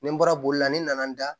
Ni n bɔra bolila ne nana n da